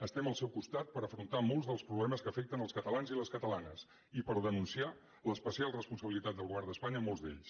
estem al seu costat per afrontar molts dels problemes que afecten els catalans i les catalanes i per denunciar l’especial responsabilitat del govern d’espanya en molts d’ells